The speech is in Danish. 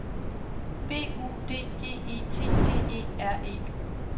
B U D G E T T E R E